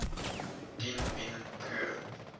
dien bien phu